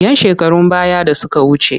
‘Yan shekarun baya da suka wuce.